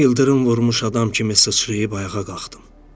İldırım vurmuş adam kimi sıçrayıb ayağa qalxdım.